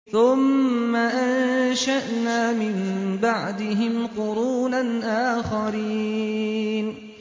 ثُمَّ أَنشَأْنَا مِن بَعْدِهِمْ قُرُونًا آخَرِينَ